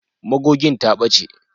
Magogin ta ɓace.